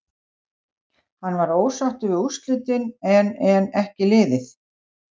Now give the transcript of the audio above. Hann var ósáttur við úrslitin en en ekki liðið.